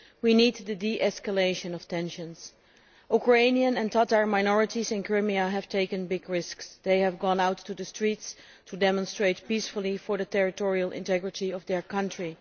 We need a de escalation of tensions. Ukrainian and Tatar minorities in Crimea have taken big risks they have gone out to the streets to demonstrate peacefully for the territorial integrity of their country.